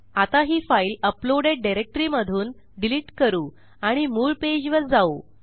आता ही file uploaded directory मधून डिलिट करू आणि मूळ पेजवर जाऊ